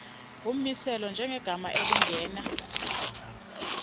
ngummiselo njengegama elingena